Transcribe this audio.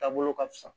Taabolo ka fisa